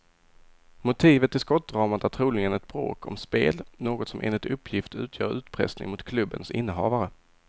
Motivet till skottdramat är troligen ett bråk om spel, något som enligt uppgift utgör utpressning mot klubbens innehavare.